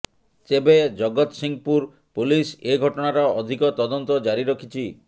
ତେବେ ଜଗତସିଂହପୁର ପୋଲିସ ଏ ଘଟଣାର ଅଧିକ ତଦନ୍ତ ଜାରି ରଖିଛି